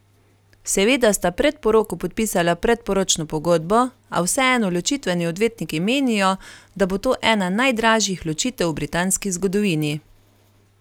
Seveda sta pred poroko podpisala predporočno pogodbo, a vseeno ločitveni odvetniki menijo, da bo to ena najdražjih ločitev v britanski zgodovini.